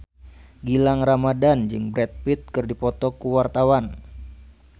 Gilang Ramadan jeung Brad Pitt keur dipoto ku wartawan